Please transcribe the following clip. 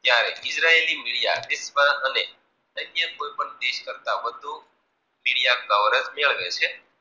જ્યારે ઈજરાયલ ની મૂલ્ય અન્ય દેશ કરતાં વધુ ચિડિયા હોય છે.